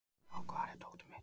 Brák, hvar er dótið mitt?